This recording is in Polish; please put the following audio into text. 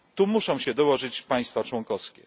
Tu muszą się dołożyć państwa członkowskie.